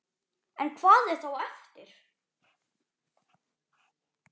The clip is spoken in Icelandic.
En hvað er þá eftir?